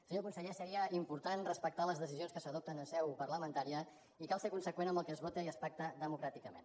senyor conseller seria important respectar les decisions que s’adopten en seu parlamentària i cal ser conseqüent amb el que es vota i es pacta democràticament